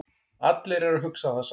Allir eru að hugsa það sama